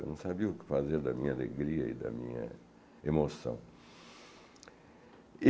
Eu não sabia o que fazer da minha alegria e da minha emoção.